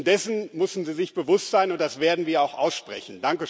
dessen müssen sie sich bewusst sein, und das werden wir auch aussprechen.